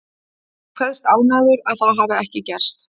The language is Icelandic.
Hann kveðst ánægður að það hafi ekki gerst.